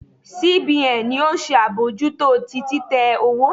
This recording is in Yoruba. C B N ni o se abojuto ti titẹ owo